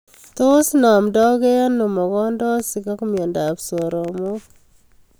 Tos namndaikei ano mogondosoik ak mnyondob soromoik